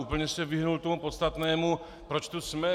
Úplně se vyhnul tomu podstatnému, proč tu jsme.